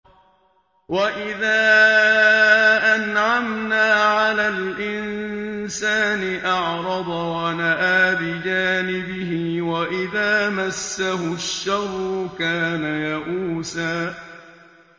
وَإِذَا أَنْعَمْنَا عَلَى الْإِنسَانِ أَعْرَضَ وَنَأَىٰ بِجَانِبِهِ ۖ وَإِذَا مَسَّهُ الشَّرُّ كَانَ يَئُوسًا